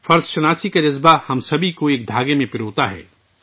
فرض کا احساس ہم سب کو ایک دوسرے سے جوڑتا ہے